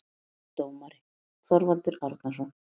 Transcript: Dómari: Þorvaldur Árnason